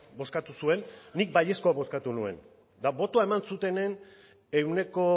bozkatu zuen nik baiezkoa bozkatu nuen eta botoa eman zutenen ehuneko